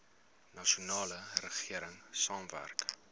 nasionale regering saamwerk